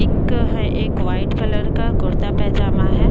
एक है एक व्हाइट कलर का कुर्ता-पैजामा हैं।